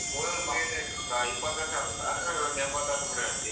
ಓದ್ಮುಗಿಯಾಕ ಒಂದ ಇಪ್ಪತ್ತು ವರ್ಷ ಆಗುತ್ತಾ? ಆ ನೆಂಬತ್ ವರ್ಷ ಬಿಡ್ ಅಂತೀಯಾ.